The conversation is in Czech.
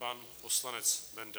Pan poslanec Benda.